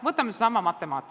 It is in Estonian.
Võtame näiteks matemaatika.